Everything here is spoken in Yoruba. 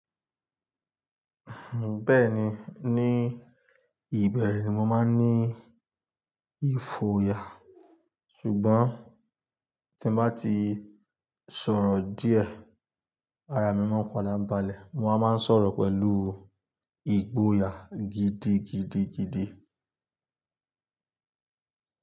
Bẹ́ẹ̀ni, ní ìbẹ̀rẹ̀ ni mo máa ń ní ìfòyà, ṣùgbọ́n tí mo bá ti sọ̀rọ̀ díẹ̀, ara mi máa ń padà balẹ̀. Mo a máa ń sọ̀rọ̀ pẹ̀lú ìgboyà gidigidigidi.